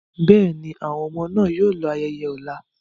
Bẹ́ẹ̀ni, àwọn ọmọ náà yóò lọ ayẹyẹ ọ̀la.